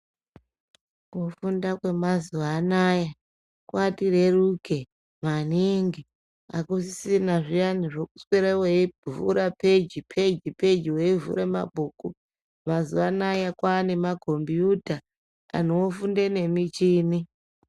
Kufunda kwemazuva anawa kwatireruke maningi akusisina zviyani zvekuswera uchivhura peji peji veivhura mabhuku mazuva anawa kwane makombiyuta anhu ofunda nemuchini.